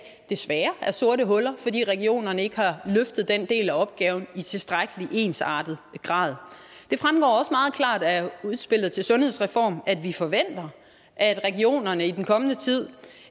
desværre er sorte huller fordi regionerne ikke har løftet den del af opgaven i tilstrækkelig ensartet grad det fremgår også meget klart af udspillet til sundhedsreformen at vi forventer at regionerne i den kommende tid